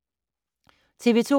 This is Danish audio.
TV 2